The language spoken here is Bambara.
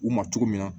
U ma cogo min na